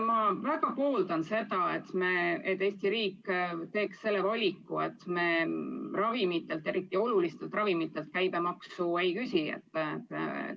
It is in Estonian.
Ma väga pooldan seda, et Eesti riik teeks selle valiku, et me ravimitelt, eriti väga olulistelt ravimitelt käibemaksu ei küsi.